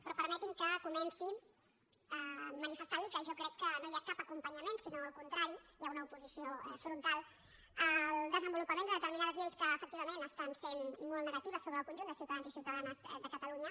però permeti’m que comenci manifestant li que jo crec que no hi ha cap acompanyament sinó al contrari hi ha una oposició frontal al desenvolupament de determinades lleis que efectivament estan sent molt negatives sobre el conjunt de ciutadans i ciutadanes de catalunya